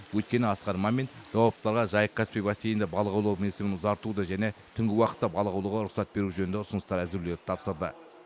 өйткені асқар мамин жауаптыларға жайық каспий бассейнінде балық аулау мерзімін ұзартуды және түнгі уақытта балық аулауға рұқсат беру жөнінде ұсыныстар әзірлеуді тапсырды